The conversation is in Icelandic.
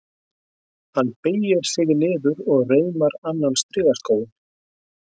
Hann beygir sig niður og reimar annan strigaskóinn.